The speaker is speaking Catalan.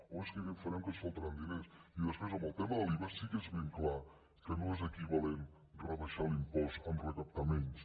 oh és que què farem que ens faltaran diners i després en el tema de l’iva sí que és ben clar que no és equivalent rebaixar l’impost a recaptar menys